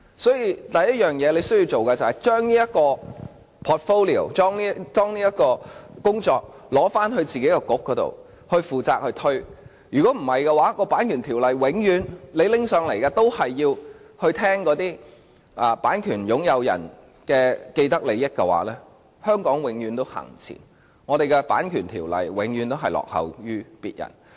所以，他首先需要做的，是把這 portfolio 或工作範疇取回，由自己的政策局負責，否則，每次政府向本會提交有關《版權條例》的法案，也要顧及那些版權擁有人的既得利益，這樣的話，香港便永遠無法向前走，我們的《版權條例》永遠也會落後於人。